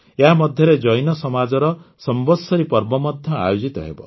ଏହାମଧ୍ୟରେ ଜୈନ ସମାଜର ସମ୍ବତ୍ସରୀ ପର୍ବ ମଧ୍ୟ ଆୟୋଜିତ ହେବ